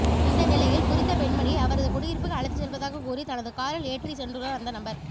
இந்த நிலையில் குறித்த பெண்மணியை அவரது குடியிருப்புக்கு அழைத்துச் செல்வதாக கூறி தனது காரில் ஏற்றிச் சென்றுள்ளார் அந்த நபர்